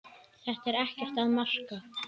Þetta er ekkert að marka.